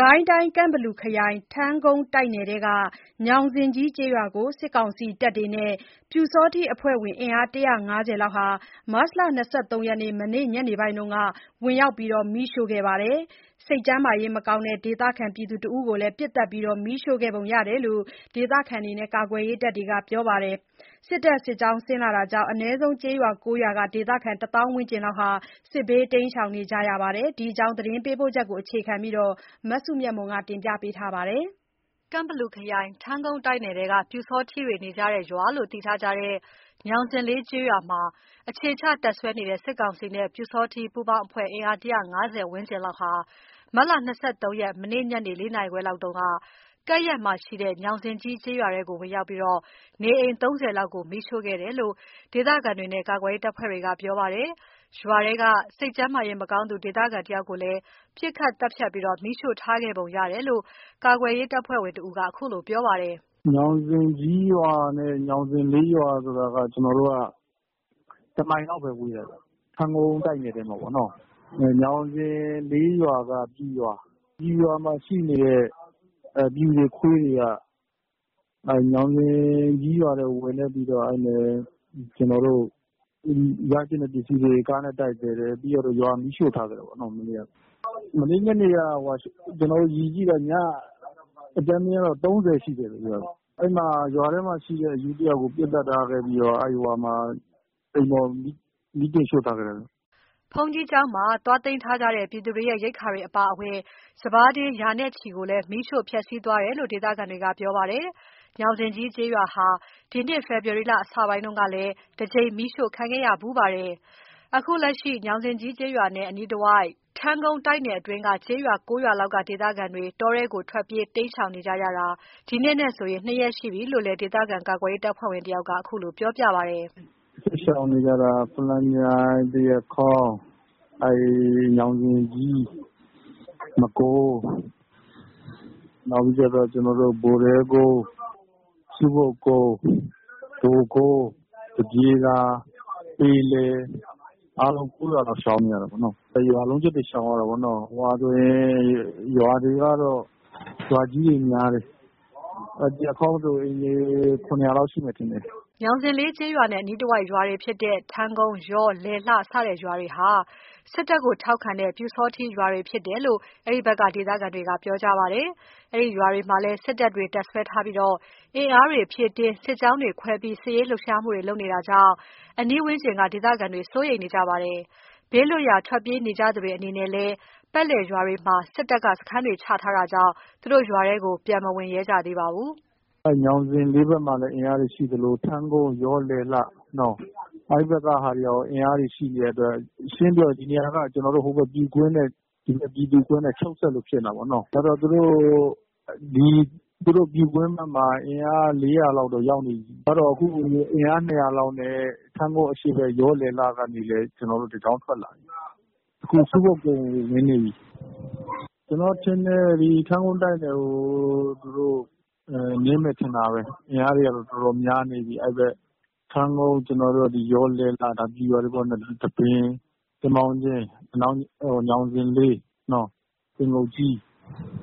ကိုင်းတိုင်း၊ ကန့်ဘလူခရိုင်၊ ထန်းကုန်းတိုက်နယ်ထဲက ညောင်ဇင်ကြီးကျေးရွာကို စစ်ကောင်စီတပ်တွေနဲ့ ပျူစောထီးအဖွဲ့ဝင် အင်အား ၁၅၀ လောက် မတ်လ ၂၃ ရက်မနေ့ ညနေပိုင်းမှာ ဝင်ရောက်မီးရှို့ခဲ့ပါတယ်။ စိတ်ကျန်းမာရေး မကောင်းသူ ဒေသခံ တစ်ဦးကိုလည်း ပစ်သတ်ပြီး မီးရှို့ခဲ့ပုံရတယ်လို့လည်း ဒေသခံတွေနဲ့ ကာကွယ်ရေးတပ်တွေက ပြောပါတယ်။ စစ်တပ်စစ်ကြောင်းကြောင့် အနည်းဆုံးကျေးရွာ ၉ ရွာက ဒေသခံ တစ်သောင်းဝန်းကျင်လောက် စစ်ဘေးရှောင်နေကြရပါတယ်။ ဒီအကြာင်း သတင်းပေးပို့ချက်ကို အခြေခံပြီး မစုမြတ်မွန်က တင်ပြပေးပါမယ်။ ကန့်ဘလူခရိုင်၊ ထန်းကုန်းတိုက်နယ်ထဲက ပျူစောထီးတွေနေကြတဲ့ ရွာလို့သိထားကြတဲ့ ညောင်ဇင်လေးကျေးရွာမှာ အခြေချတပ်စွဲနေတဲ့ စစ်ကောင်စီနဲ့ ပျူစောထီးပူးပေါင်းအဖွဲ့ အင်အား ၁၅၀ ဝန်းကျင်လောက်ဟာ မတ်လ ၂၃ ရက် မနေ့ ညနေ ၄ နာရီ ခွဲအချိန်လောက်မှာ ကပ်ရပ်မှာရှိတဲ့ ညောင်ဇင်ကြီးကျေးရွာကို ဝင်ရောက်ပြီး နေအိမ် ၃၀ လောက်ကို မီးရှို့ခဲ့တယ်လို့ ဒေသခံတွေနဲ့ ဒေသကာကွယ်ရေးတပ်ဖွဲ့တွေက ပြောပါတယ်။ ရွာထဲက စိတ်ကျန်းမာရေးမကောင်းသူ ဒေသခံတစ်ဦးကိုလည်း ပစ်ခတ် သတ်ဖြတ်ပြီး မီးရှို့ထားခဲ့ပုံရတယ်လို့ ဒေသကာကွယ်ရေး တပ်ဖွဲ့ဝင်တစ်ဦးက ခုလိုပြောပါတယ်။ “ညောင်ဇင်ကြီးရွာနဲ့ ညောင်ဇင်လေးရွာဆိုတာက တစ်မိုင်လောက်ပဲ ဝေးတာဗျ၊ ထန်းကုန်း တိုက်နယ်ထဲမှာပေါ့နော။ ညောင်ဇင်လေးရွာက ပျူရွာ၊ ပျူရွာမှာရှိနေတဲ့ ပျူနဲ့ စကစ တွေက ညောင်ဇင်ကြီးရွာထဲကို ဝင်ခဲ့ပြီးတော့ အဲ့မှာ သူတို့ လိုချင်တဲ့ ပစ္စည်းတွေကို ကားနဲ့ တိုက်သယ်တယ်။ ပြီးတော့ ရွာကို မီးရှို့ထားခဲ့တာပေါ့နော်၊ မနေ့က။ မနေ့က ညနေက ကျွန်တော်တို့ ရေကြည့်တာတော့ အကြမ်းဖျင်းကတော့ ၃၀ လောက်ရှိမယ်ဗျ။ အဲ့မှာ ရွာထဲမှာရှိတဲ့ အရူးတစ်ယောက်ကို ပစ်သတ်ထားခဲ့ပြီးတော့ အိမ်ပေါ် မီးတင်ရှို့ထားခဲ့တာဗျ။” ဘုန်းကြီးကျောင်းမှာ သွားသိမ်းထားကြတဲ့ ပြည်သူတွေရဲ့ ရိက္ခာတွေအပါအဝင် စပါးတင်း ရာနဲ့ချီကိုလည်း မီးရှို့ဖျက်ဆီးသွားတယ်လို့ ဒေသခံတွေက ပြောပါတယ်။ ညောင်ဇင်ကြီးကျေးရွာဟာ ဒီနှစ် ဖေဖော်ဝါရီလ အစပိုင်းတုန်းကလည်း တစ်ကြိမ် မီးရှို့ခံရဖူးပါတယ်။ အခုလက်ရှိမှာ ညောင်ဇင်ကြီးရွာနဲ့ အနီးတဝိုက် ထန်းကုန်းတိုက်နယ်အတွင်းက ကျေးရွာ ၉ ရွာလောက်က ဒေသခံတွေ တောထဲကို ထွက်ပြေးတိမ်းရှောင်နေကြရတာ ဒီကနေ့နဲ့ဆိုရင် ၂ ရက်ရှိပြီလို့လည်း ဒေသကာကွယ်ရေး တပ်ဖွဲ့ဝင်တစ်ဦးက အခုလို ပြောပါတယ်။ “စစ်ရှောင်နေကြရတာက သရက်ခေါင်း၊ ညောင်ဇင်ကြီး၊ မင်းကုန်း၊ နောက်ပြီးတော့ ဘိုတဲကုန်း၊ ဆူးပုတ်ကုန်း၊ ဘိုကုန်း၊ သပြေသာ၊ ပေလည် စသဖြင့် အားလုံး ၉ ရွာလောက် ရှောင်နေရတယ်ဗျ။ ရွာလုံးကျွတ်တွေ ရှောင်ရတာပေါ့နော်။ ရွာတွေကတော့ ရွာကြီးတွေ များတယ်။ သရက်ခေါင်းဆိုရင် အိမ်ခြေ ၇၀၀ လောက် ရှိမယ်။” ညောင်ဇင်လေးရွာနဲ့ အနီးတဝိုက်ရွာတွေဖြစ်တဲ့ ထန်းကုန်း၊ ယော၊ လယ်လှ စတဲ့ ရွာတွေဟာ စစ်တပ်ကိုထောက်ခံတဲ့ ပျူစောထီးရွာတွေဖြစ်တယ်လို့ အဲဒီဘက်က ဒေသခံတွေက ပြောပါတယ်။ အဲဒီရွာတွေမှာလည်း စစ်တပ်တွေ တပ်စွဲထားပြီး အင်အားတွေဖြည့်တင်း စစ်ကြောင်းတွေခွဲပြီး စစ်ရေးလှုပ်ရှားမှုတွေလုပ်နေကြတာကြောင့် အနီးဝန်းကျင်က ဒေသခံတွေ စိုးရိမ်နေကြပါတယ်။ ဘေးလွတ်ရာ ထွက်ပြေးနေကြသူတွေအနေနဲ့လည်း ပါတ်လည်ရွာတွေမှာ စစ်တပ်က စခန်းတွေချတာကြောင့် သူတို့ရွာတွေထဲ ပြန်မဝင်ရဲကြသေးပါဘူး။ “ညောင်ဇင်လေးဖက်မှာလည်း အင်အားတွေ ရှိသလို ထန်းကုန်း၊ ယော၊ လယ်လှ အဲ့ဖက်ကဟာတွေမှာရော အင်အားတွေ ရှိနေတဲ့အတွက် ရှင်းရှင်းပြောရရင် ဒီနေရာက ဟိုဖက် ပျူကွင်းနဲ့ ပြည်သူ့ကွင်းနဲ့ ချုပ်စပ်လို ဖြစ်နေတာပေါ့။ ခုတော့ သူတို့ ပျူကွင်းဖက်မှာ အင်အား ၄၀၀ လောက်တော့ ရောက်နေပြီ။ အခု အင်အား ၂၀၀ လောက်နဲ့ ထန်းကုန်းအရှေ့ဖက် ယော၊ လယ်လှ ဘက်ကနေ အင်အား ၂၀၀ လောက်နဲ့ တစ်ကြောင်းထွက်လာတယ်။ အခု ဆူးပုတ်ကုန်းကို ဝင်နေပြီ။ ကျွန်တော်ထင်တယ်။ ဒီထန်းကုန်းတိုက်နယ်ကို သူတို့ နင်းမယ်ထင်တာပဲ။ အင်အားတွေကတော့ တော်တော်များနေပြီ အဲ့ဖက် ထန်းကုန်း ကျွန်တော်တို့ ယော၊ လယ်လှ၊ တပင် ပျူရွာတွေပေါ့နော သင်ပေါင်းကျင်း၊ ညောင်ဇင်လေး၊ အင်ငုတ်ကြီး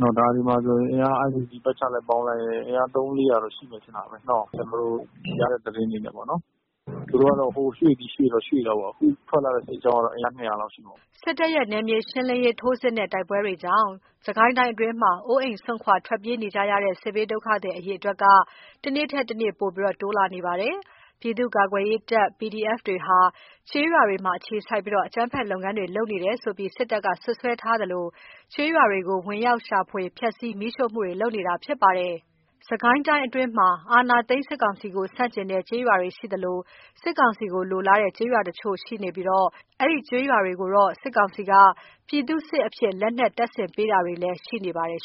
ဒါတွေမှာဆိုရင် အင်အားက ဒီပတ်ချာလည် ပေါင်းလိုက်ရင် အင်အားက ၃−၄၀၀ လောက်တော့ရှိမှာပဲ။ ကျွန်တော်ရတဲ့သတင်းတွေအရပေါ့။ သူတို့ကတော့ ဟိုရွေ့ဒီရွေ့ပေါ့၊ ခုထွက်လာတဲ့ စစ်ကြောင်းကတော့ အင်အား ၂၀၀ လောက်ရှိတယ်။” စစ်တပ်ရဲ့ နယ်မြေရှင်းလင်းရေး ထိုးစစ်နဲ့ တိုက်ပွဲတွေကြောင့် စစ်ကိုင်းအတွင်းမှာ အိုးအိမ် စွန့်ခွာ ထွက်ပြေးနေကြရတဲ့ စစ်ဘေးဒုက္ခသည် အရေအတွက်တွေက တနေ့ထက်တနေ့ ပိုပြီးတိုးလာနေပါတယ်။ ပြည်သူ့ကာကွယ်ရေးတပ် PDF တွေဟာ ကျေးရွာတွေမှာ အခြေစိုက်ပြီး အကြမ်းဖက် လုပ်ငန်းတွေ လုပ်နေတယ်ဆိုပြီး စစ်တပ်က စွပ်စွဲထားသလို ကျေးရွာတွေကို ဝင်ရောက်ရှာဖွေ၊ ဖျက်စီး၊ မီးရှို့မှုတွေလုပ်နေတာဖြစ်ပါတယ်။ စစ်ကိုင်းတိုင်းအတွင်းမှာ အာဏာသိမ်း စစ်ကောင်စီကို ဆန့်ကျင်တဲ့ကျေးရွာတွေ ရှိသလို၊ စစ်ကောင်စီကိုလိုလားတဲ့ ကျေးရွာတချို့လည်း ရှိနေပြီး အဲဒီကျေးရွာတွေကို စစ်ကောင်စီက ပြည်သူ့စစ်အဖြစ် လက်နက် တပ်ဆင်ပေးတာတွေလည်း ရှိနေပါတယ်